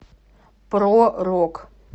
про рок